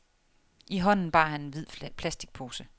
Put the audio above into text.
I hånden bar han en hvid plasticpose.